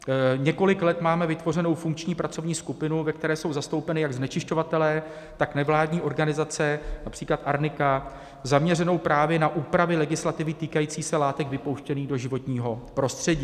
Několik let máme vytvořenou funkční pracovní skupinu, ve které jsou zastoupeni jak znečišťovatelé, tak nevládní organizace, například Arnika, zaměřenou právě na úpravy legislativy týkající se látek vypouštěných do životního prostředí.